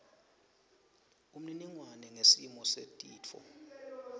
umniningwane ngesimo setifo